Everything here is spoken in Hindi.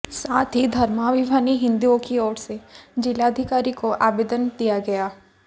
साथ ही धर्माभिमानी हिंदुओंकी ओरसे जिलाधिकारीको आवेदन दिया गया